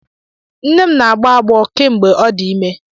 Nne m na-agbọ agbọ kemgbe ọ dị ime.